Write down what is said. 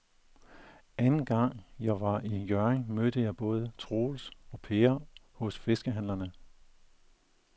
Anden gang jeg var i Hjørring, mødte jeg både Troels og Per hos fiskehandlerne.